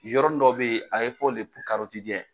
Yɔrɔnin dɔ bɛ yen a be fɔ